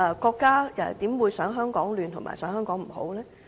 國家怎會想香港混亂和不好呢？